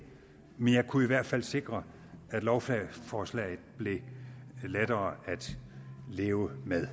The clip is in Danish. men jeg kunne i hvert fald sikre at lovforslaget blev lettere at leve med